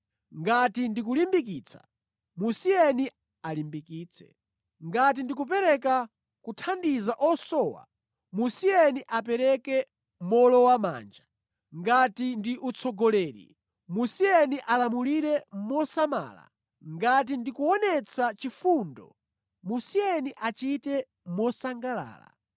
Ngati ndi kulimbikitsa, musiyeni alimbikitse. Ngati ndi kupereka kuthandiza osowa, musiyeni apereke mowolowamanja. Ngati ndi utsogoleri, musiyeni alamulire mosamala. Ngati ndi kuonetsa chifundo, musiyeni achite mosangalala.